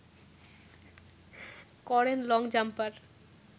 করেন long jumper